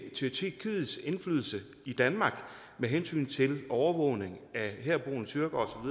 tyrkiets indflydelse i danmark med hensyn til overvågning af herboende tyrkere